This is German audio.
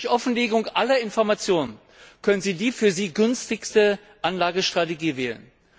Durch Offenlegung aller Informationen können sie die für sie günstigste Anlagestrategie wählen.